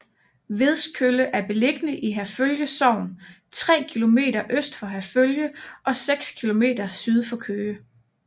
Vedskølle er beliggende i Herfølge Sogn tre kilometer øst for Herfølge og seks kilometer syd for Køge